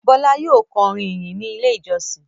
Bọ́lá yóò kọ orin ìyìn ní Ilé-ìjọsìn.